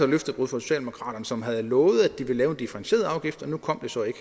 løftebrud fra socialdemokraterne som havde lovet at de ville lave en differentieret afgift og nu kom den så ikke